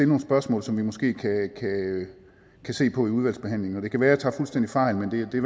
nogle spørgsmål som vi måske kan se på i udvalgsbehandlingen og det kan være at jeg tager fuldstændig fejl men det er i